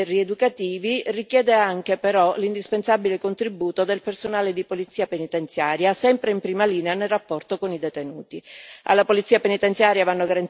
La buona riuscita dei processi rieducativi richiede anche però l'indispensabile contributo del personale di polizia penitenziaria, sempre in prima linea nel rapporto con i detenuti.